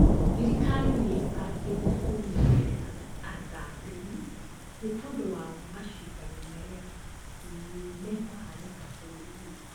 Thirikari nĩĩbangite kũnyitĩrĩra athambĩrĩ nĩ tondũ wa macindano marĩa mekũhanĩka bũrũrinĩ